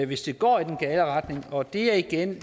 hvis det går i den gale retning og det er igen